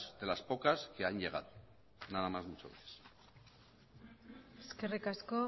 de las pocas que han llegado nada más muchas gracias eskerrik asko